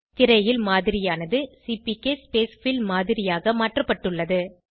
திரையில் மாதிரியானது CPK spacefill மாதிரியாக மாற்றப்பட்டுள்ளது